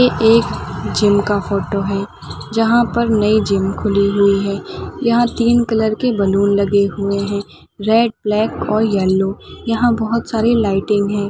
एक जिम का फोटो है जहाँ पर नई जिम खुली हुई है यहाँ तीन कलर के बलून लगे हुए हैं रेड ब्लैक और येलो यहाँ बहुत सारी लाइटिंग है।